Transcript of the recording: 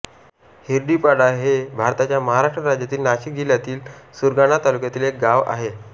हिरडीपाडा हे भारताच्या महाराष्ट्र राज्यातील नाशिक जिल्ह्यातील सुरगाणा तालुक्यातील एक गाव आहे